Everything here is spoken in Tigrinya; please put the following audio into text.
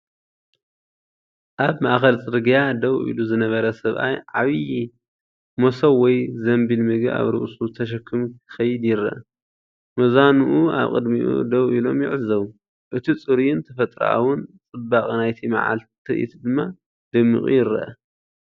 ኣብ ማእከል ጽርግያ ደው ኢሉ ዝነበረ ሰብኣይ፡ ዓቢይ መሶብ ወይ ዘምቢል ምግቢ ኣብ ርእሱ ተሰኪሙ ክኸይድ ይርአ። መዛኑኡ ኣብ ቅድሚኡ ደው ኢሎም ይዕዘቡ፡ እቲ ጽሩይን ተፈጥሮኣውን ጽባቐ ናይቲ ናይቲ መዓልቲ ትርኢት ድማ ደሚቑ ይረአ።